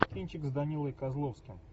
кинчик с данилой козловским